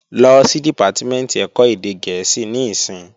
Lọ sí Dìpátímẹ̀ntì ẹ̀kọ́ èdè gẹ̀ẹ́sì níìsín!